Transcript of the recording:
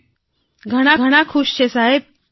વર્ષાબેન ઘણાઘણા ખુશ છે સાહેબ